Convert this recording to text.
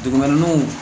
Dugumɛnɛw